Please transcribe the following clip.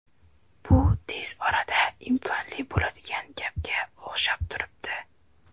Bu tez orada imkonli bo‘ladigan gapga o‘xshab turibdi.